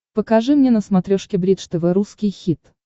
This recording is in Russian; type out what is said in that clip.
покажи мне на смотрешке бридж тв русский хит